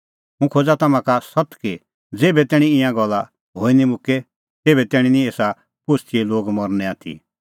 हुंह खोज़ा तम्हां का सत्त कि ज़ेभै तैणीं ईंयां गल्ला हई निं मुक्के तेभै तैणीं निं एसा पोस्तीए लोग मरनै आथी